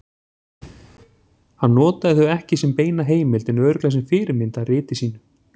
Hann notaði þau ekki sem beina heimild en örugglega sem fyrirmynd að riti sínu.